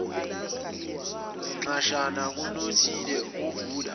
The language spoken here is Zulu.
nxashana kunothile ovula